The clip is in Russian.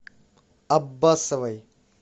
аббасовой